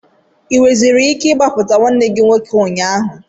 Ị nwereziri ike ịgbapụta nwanne gị nwoke ụnyaahụ?